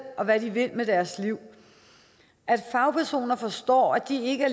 og hvad de vil med deres liv at fagpersoner forstår at de ikke